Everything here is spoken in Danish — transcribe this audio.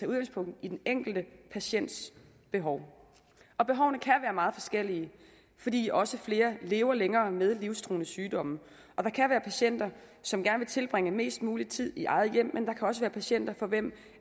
udgangspunkt i den enkelte patients behov og behovene kan være meget forskellige fordi også flere lever længere med livstruende sygdomme og der kan være patienter som gerne vil tilbringe mest mulig tid i eget hjem men der kan også være patienter for hvem